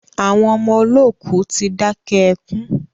Àwọn ọmọ olókù tí dákẹ́ ẹkùn